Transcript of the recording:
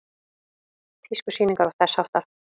Tískusýningar og þess háttar?